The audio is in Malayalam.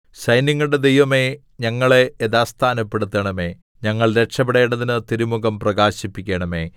സൈന്യങ്ങളുടെ ദൈവമേ ഞങ്ങളെ യഥാസ്ഥാനപ്പെടുത്തണമേ ഞങ്ങൾ രക്ഷപ്പെടേണ്ടതിന് തിരുമുഖം പ്രകാശിപ്പിക്കണമേ